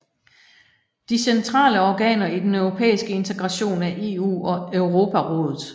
De centrale organer i den europæiske integration er EU og Europarådet